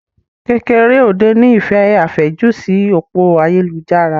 Kekereode ní ìfẹ́ àfẹ́jù sí òpó ayélujára.